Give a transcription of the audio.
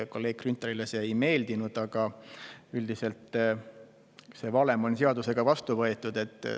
Kolleeg Grünthalile see ei meeldinud, aga üldiselt on see valem seadusega vastu võetud.